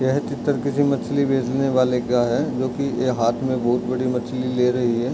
ये पिक्चर किसी मछली बेचने वाले का है जो की हाथ मे बोहोत बड़ी मछली ले रही है।